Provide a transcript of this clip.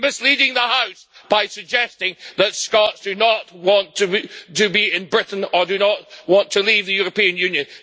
He is misleading the House by suggesting that Scots do not want to be in Britain or do not want to leave the European Union.